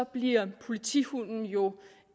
bliver politihunden jo